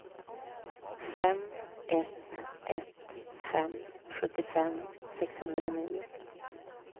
fem ett ett fem sjuttiofem sexhundranio